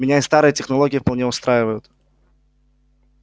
меня и старые технологии вполне устраивают